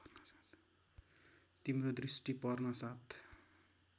तिम्रो दृष्टि पर्नासाथ